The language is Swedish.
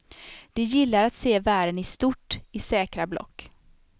De gillar att se världen i stort, i säkra block.